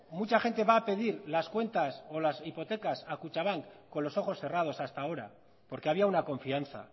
mucha gente va a pedir las cuentas o las hipotecas a kutxabank con los ojos cerrados hasta ahora porque había una confianza